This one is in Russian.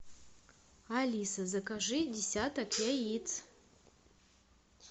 алиса закажи десяток яиц